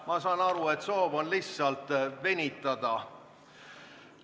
Ma saan aru, et soov on lihtsalt venitada.